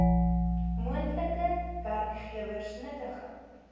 moontlike werkgewers nuttige